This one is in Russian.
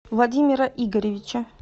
владимира игоревича